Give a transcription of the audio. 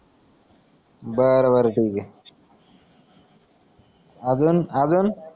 बर बर ठीक है आजून आजून